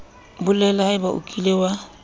bolela haebe o kile wa